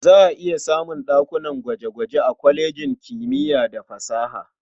Za a iya samun ɗakunan gwaje-gwaje a kwalejin kimiya da fasaha.